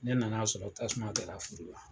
Ne nan'a sɔrɔ tasuma kɛra furu la.